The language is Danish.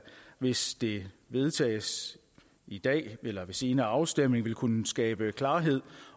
hvis det vedtages i dag eller ved senere afstemning vil kunne skabe klarhed